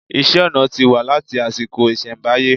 Iṣẹ́-ọnà ti wà láti àsìkò ìṣẹ̀mbáyé.